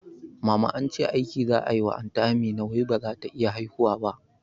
Mama ance aiki za'a wa anty Amina wai bazata iya haihuwa ba